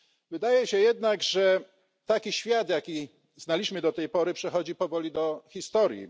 Wydaje się jednak, że taki świat, jaki znaliśmy do tej pory, przechodzi powoli do historii.